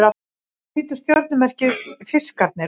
Hvernig lítur stjörnumerkið Fiskarnir út?